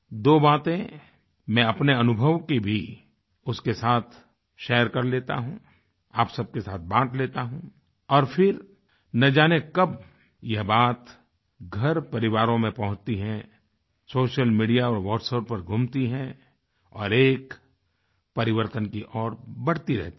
दो बातें मैं अपने अनुभव की भी उसके साथ शेयर कर लेता हूँ आप सबके साथ बाँट लेता हूँ और फिर न जाने कब यह बात घरपरिवारों में पहुँचती है सोशल मीडिया और WhatsApp पर घूमती है और एक परिवर्तन की ओर बढ़ती रहती है